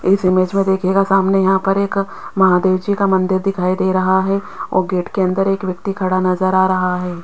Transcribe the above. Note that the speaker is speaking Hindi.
इस इमेज में देखिएगा सामने यहां पर एक महादेव जी का मंदिर दिखाई दे रहा है और गेट के अंदर एक व्यक्ति खड़ा नज़र आ रहा है।